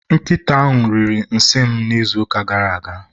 Nkịta ahụ riri nsị m n'izuụka gara aga.